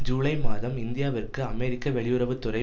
ஜூலை மாதம் இந்தியாவிற்கு அமெரிக்க வெளியுறவு துறை